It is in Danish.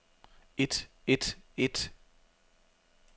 et et et